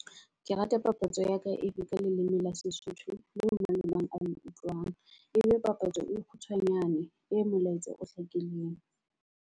Ke rata papatso ya ka e be ka leleme la Sesotho eo mang le mang a le utlwang. E be papatso e kgutshwanyane e molaetsa o hlakileng.